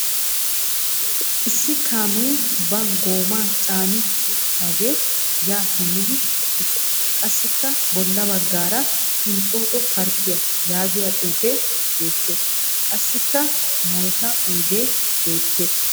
Issi kaamee ba goomaa caani uttidaagee yaa simmidi eqqiis. Qassikka bolla baggaara "inxxooxxo parkkiya" yaagiya xuufee beettees. Qassikka mayika oyidee beettees.